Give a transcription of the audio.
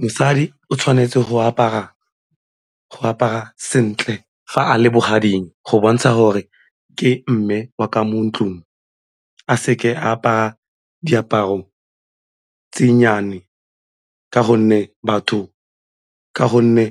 Mosadi o tshwanetse go apara sentle fa a le bogading go bontsha gore ke mme wa ka mo ntlung a seke apara diaparo tse nnyane ka gonne